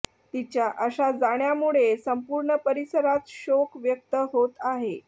तिच्या अशा जाण्यामुळे संपूर्ण परिसरात शोक व्यक्त होत आहे